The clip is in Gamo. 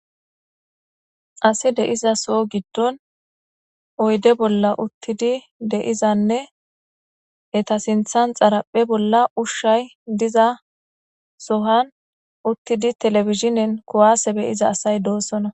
Ase de7iza soho giddon oyde bolla uththidi de7izanne etha sinththen xaraphphe bolla ushshay diza sohan uththidi televisine be7isa asy doosona.